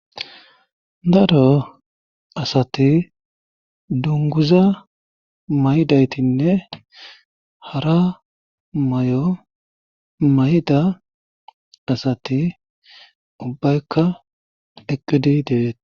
daro asati dunguza maydaytinne hara may7o mayda asati ubbaykka eqqidi deeeti